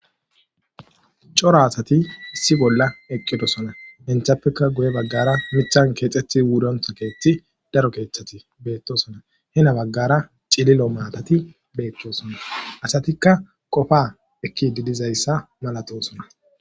Coro asati issi bolla eqqidosona inthappekka guye baggara mithan keexethi wurontha keeththi daro keeththati beettosona hina baggara cililo maatati beeththosona asatikka qofa ekki didizayssa malatosona.